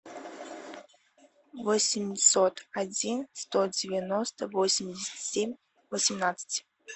восемьсот один сто девяносто восемьдесят семь восемнадцать